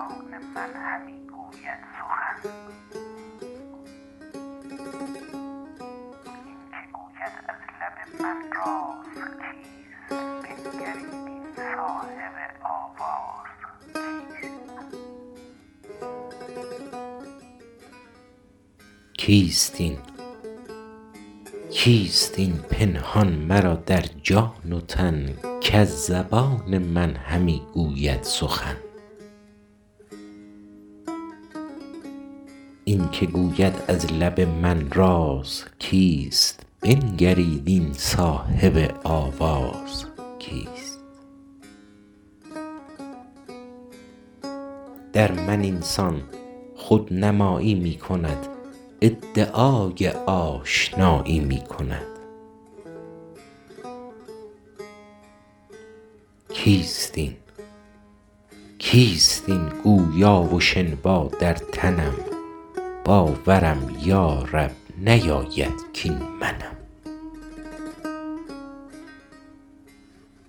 در بیان اینکه صاحب جمال را خودنمایی موافق حکمت شرط ست و اشاره به تجلی اول بر وجه اتم و اکمل و پوشیدن اعیان ثابته کسوت تعین را و طلوع عشق از مطلع لاهوتی و تجلی به عالم ملکوتی و ناسوتی- نعم ماقال در ازل پرتو حسنت ز تجلی دم زد عشق پیدا شد و آتش به همه عالم زد حافظ بر مصداق حدیث کنت کنزا مخفیا فأحببت ان اعرف بر مذاق اهل توحید گوید کیست این پنهان مرا در جان و تن کز زبان من همی گوید سخن این که گوید از لب من راز کیست بنگرید این صاحب آواز کیست در من این سان خودنمایی می کند ادعای آشنایی می کند کیست این گویا و شنوا در تنم باورم یارب نیاید کاین منم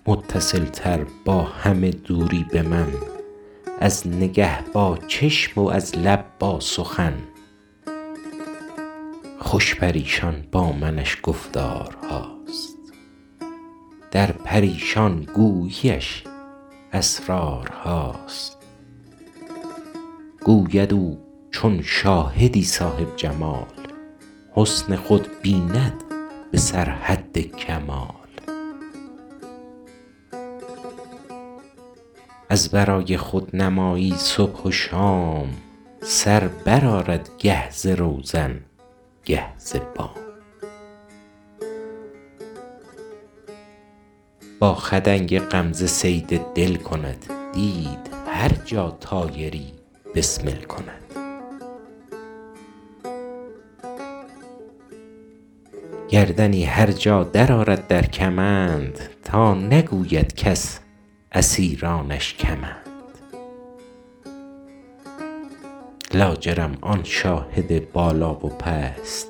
متصل تر با همه دوری به من از نگه با چشم و از لب با سخن خوش پریشان با منش گفتارهاست در پریشان گویی اش اسرارهاست گوید او چون شاهدی صاحب جمال حسن خود بیند به سر حد کمال از برای خودنمایی صبح و شام سر برآرد گه ز روزن گه ز بام با خدنگ غمزه صید دل کند دید هر جا طایری بسمل کند گردنی هر جا در آرد در کمند تا نگوید کس اسیرانش کمند لاجرم آن شاهد بالا و پست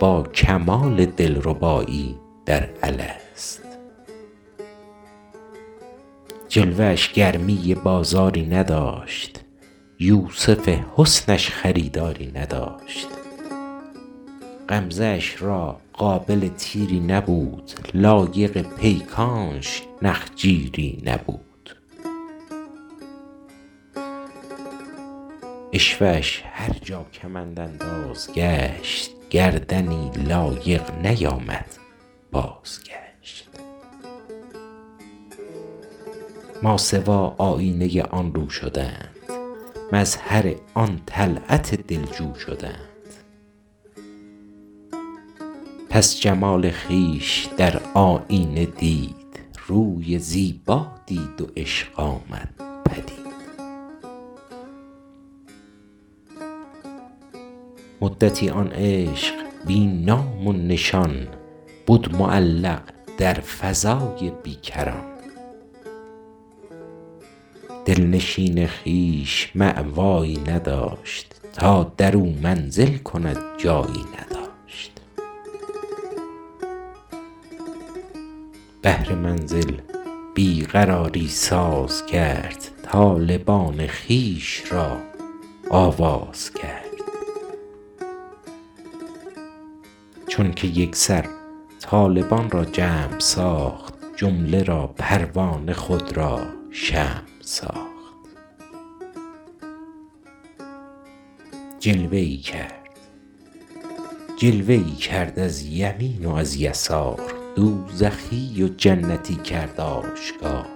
با کمال دلربایی در الست جلوه اش گرمی بازاری نداشت یوسف حسن اش خریداری نداشت غمزه اش را قابل تیری نبود لایق پیکانش نخجیری نبود عشوه اش هرجا کمندانداز گشت گردنی لایق نیامد بازگشت ماسوی آیینه آن رو شدند مظهر آن طلعت دلجو شدند پس جمال خویش در آیینه دید روی زیبا دید و عشق آمد پدید مدتی آن عشق بی نام و نشان بد معلق در فضای بیکران دلنشین خویش مأوایی نداشت تا درو منزل کند جایی نداشت بهر منزل بی قراری ساز کرد طالبان خویش را آواز کرد چون که یکسر طالبان را جمع ساخت جمله را پروانه خود را شمع ساخت جلوه ای کرد از یمین و از یسار دوزخی و جنتی کرد آشکار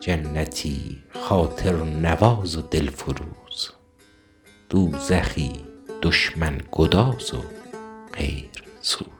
جنتی خاطرنواز و دل فروز دوزخی دشمن گداز و غیرسوز